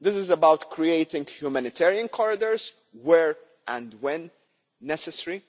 This is about creating humanitarian corridors where and when necessary.